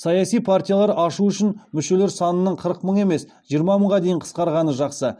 саяси партиялар ашу үшін мүшелер санының қырық мың емес жиырма мыңға дейін қысқарғаны жақсы